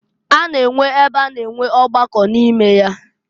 A na-enwe ebe a na-enwe ọgbakọ n'ime ya.